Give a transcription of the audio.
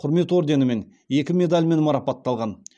құрмет орденімен екі медальмен марапатталған